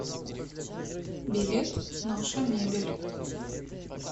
билет наша мебель